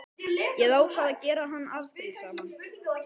Ég ákvað að gera hann afbrýðisaman.